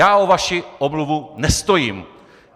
Já o vaši omluvu nestojím!